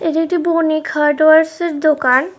এটি একটি বণিক হার্ডওয়্যারসের দোকান।